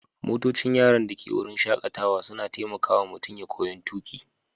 Motocin yaran da ke wurin shakatawa suna taimaka wa mutum ya koyon tuƙi.